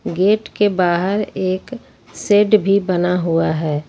Gate के बाहर एक शेड भी बना हुआ है।